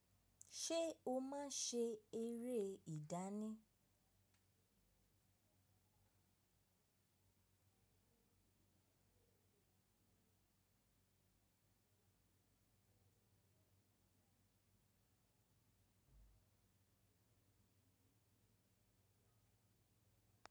Ṣé o máa ṣe eré ìdánì?